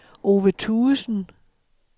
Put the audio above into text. Ove Thuesen